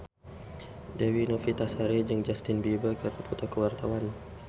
Dewi Novitasari jeung Justin Beiber keur dipoto ku wartawan